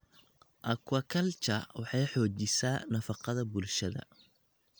Aquaculture waxay xoojisaa nafaqada bulshada.